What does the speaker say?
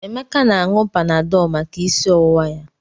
Emeka na-aṅụ Panadọlụ maka isi ọwụwa ya.